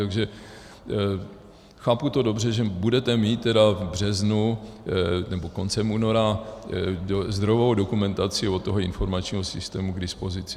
Takže chápu to dobře, že budete mít tedy v březnu, nebo koncem února zdrojovou dokumentaci od toho informačního systému k dispozici?